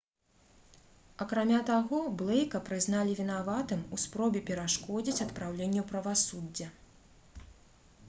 акрамя таго блэйка прызналі вінаватым у спробе перашкодзіць адпраўленню правасуддзя